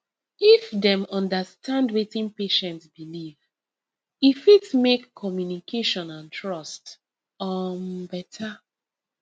if dem understand wetin patient believe e fit make communication and trust um better